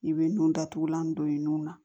I bɛ nun datugulan don i nun na